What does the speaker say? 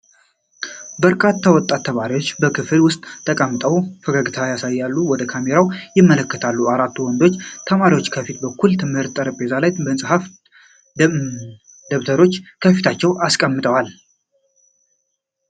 በርካታ ወጣት ተማሪዎች በክፍል ውስጥ ተቀምጠው ፈገግታ እያሳዩ ወደ ካሜራው ይመለከታሉ። አራቱ ወንዶች ተማሪዎች ከፊት በኩል በትምህርት ጠረጴዛ ላይ መጻሕፍትና ደብተሮች ከፊታቸው አስቀምጠዋል።